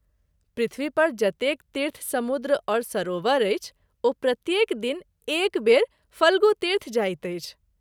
पृथ्वी पर जतेक तीर्थ, समुद्र और सरोवर अछि ओ प्रत्येक दिन एक वेर फ्लगु तीर्थ जाइत अछि।